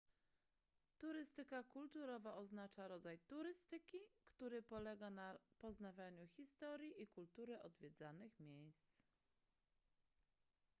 turystyka kulturowa oznacza rodzaj turystyki który polega na poznawaniu historii i kultury odwiedzanych miejsc